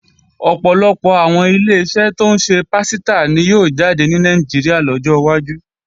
Ọ̀pọ̀lọpọ̀ àwọn Ileṣẹ́ tó ń ṣe pásítà ni yóò jáde ní Nàìjíríà lọ́jọ́ wájú